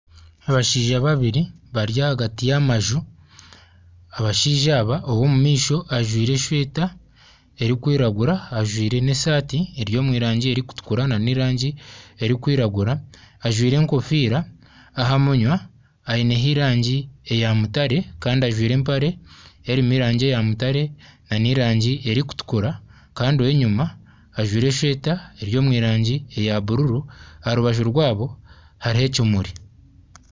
Abashaija babiri bari ahagati y'amanju abashaija aba ow'omu maisho ajwaire esweeta erikwiragura ajwaire n'esaati eri omu rangi erikutukura n'erangi erikwiragura ajwaire enkofiira aha munywa aineho erangi eya mutaare kandi ajwaire empare erimu erangi eya mutaare n'erangi erikutukura kandi ow'enyuma ajwaire esweeta eri omu rangi eya bururu aha rubaju rwaabo hariho ekimuri.